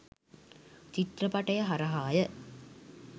චිත්‍රපටය හරහා ය.